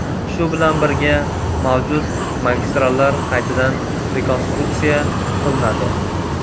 Shu bilan birga mavjud magistrallar qaytadan rekonstruktsiya qilinadi.